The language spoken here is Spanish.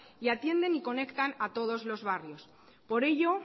y atienden y conectan a todos los barrios por ello